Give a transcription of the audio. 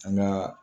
An ka